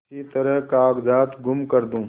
किसी तरह कागजात गुम कर दूँ